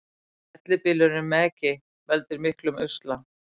Fellibylurinn Megi veldur miklum usla